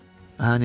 Ah, Nətişka.